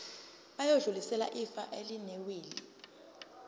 bayodlulisela ifa elinewili